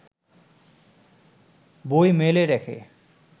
বই মেলে রেখে